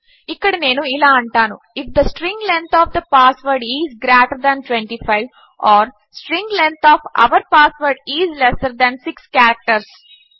ఇక్కడ నేను ఇలా అంటాను if the string length of the password is greater than 25 or string length of our password is lesser than 6 characters